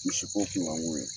Misi kɔ kunkanko ye